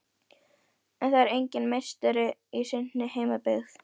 En það er enginn meistari í sinni heimabyggð.